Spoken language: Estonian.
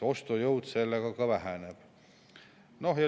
Ostujõud sellega ka väheneb.